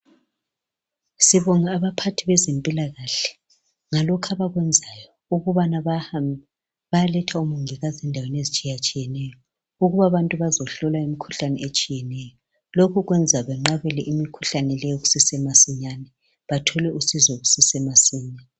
Sibonga abaphathi bezempilakahle ngalokho abakwenzayo ukubana bahambe, bayaletha omongikazi endaweni ezitshiyatshiyeneyo ukuba abantu bazohlolwa imikhuhlane etshiyeneyo. Lokhu kwenza benqabele imikhuhlane leyo kusesemasinyane, bathole usizo kusese masinya.